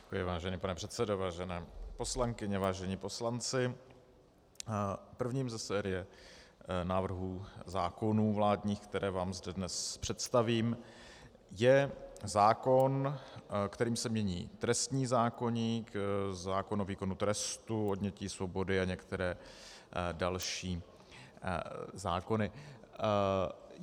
Děkuji, vážený pane předsedo, vážené poslankyně, vážení poslanci, prvním ze série návrhů zákonů vládních, které vám zde dnes představím, je zákon, kterým se mění trestní zákoník, zákon o výkonu trestu odnětí svobody a některé další zákony.